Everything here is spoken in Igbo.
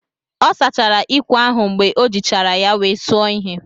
Ọ sachara ikwè ahụ mgbe o jichara ya wee suo ihe.